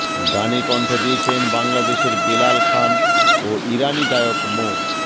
গানে কণ্ঠ দিয়েছেন বাংলাদেশের বেলাল খান ও ইরানি গায়ক মো